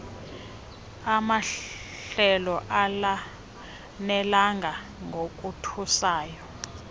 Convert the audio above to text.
amahlelo alanelanga ngokothusayo